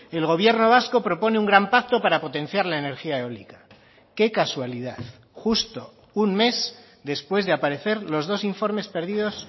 el gobierno vasco propone un gran pacto para potenciar la energía eólica qué casualidad justo un mes después de aparecer los dos informes perdidos